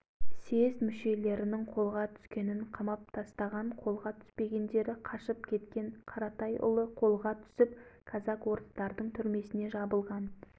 қолға түскен съезд бастықтарының колостов деген жолдасты бас қылып бірнеше адамды атып тастаған